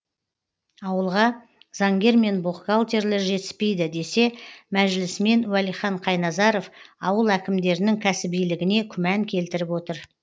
ауылға заңгер мен бухгалтерлер жетіспейді десе мәжілісмен уәлихан қайназаров ауыл әкімдерінің кәсібилігіне күмән келтіріп отыр